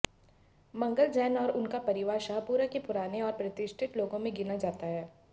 मंगल जैन और उनका परिवार शहपुरा के पुराने और प्रतिष्ठित लोगों में गिना जाता है